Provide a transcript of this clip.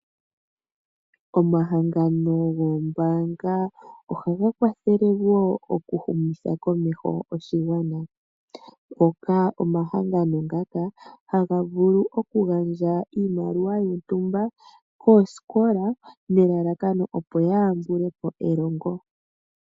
Omahangano gombaanga ohaga vulu wo okuhumitha komeho oshigwana. Omahangano ngaka ohaga vulu oku gandja oshimaliwa shontumba koosikola nelalakano, opo ya tambulepo elongo.